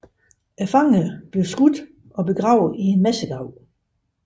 Fangerne blev skudt og begravet i en massegrav